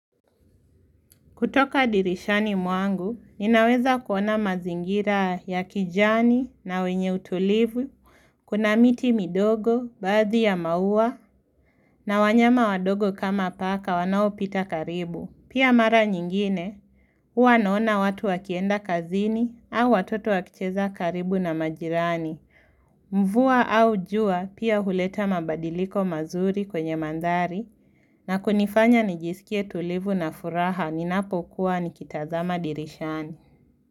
Kutoka dirishani mwangu, ninaweza kuona mazingira ya kijani na wenye utulivu, kuna miti midogo, baadhi ya mauwa, na wanyama wadogo kama paka wanao pita karibu. Pia mara nyingine, huwa naona watu wakienda kazini au watoto wakicheza karibu na majirani. Mvua au jua, pia huleta mabadiliko mazuri kwenye mandari, na kunifanya nijisikie tulivu na furaha minapo kuwa nikitazama dirishani.